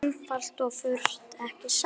Einfalt og fagurt, ekki satt?